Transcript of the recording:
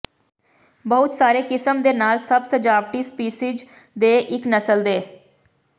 ਬਹੁਤ ਸਾਰੇ ਕਿਸਮ ਦੇ ਨਾਲ ਸਭ ਸਜਾਵਟੀ ਸਪੀਸੀਜ਼ ਦੇ ਇੱਕ ਨਸਲ ਦੇ